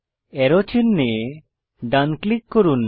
আরো চিনহে ডান ক্লিক করুন